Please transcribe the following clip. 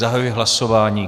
Zahajuji hlasování.